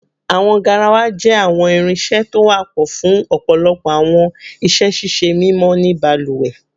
Awọn garawa jẹ awọn irinṣẹ to wapọ fun ọpọlọpọ awọn iṣẹ ṣiṣe mimọ ni baluwe